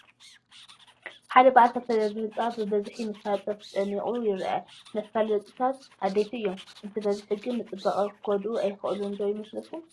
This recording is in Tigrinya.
ሓደ በዓል ክልተ ደብሪ ህንፃ ብብዝሒ መፋለጥታት ተጨናኒቑ ይርአ ኣሎ፡፡ መፋለጥታት ኣድለይቲ እዮም፡፡ እንትበዝሑ ግን ንፅባቐ ክጐድኡ ኣይኽእሉን ዶ ይመስለኩም?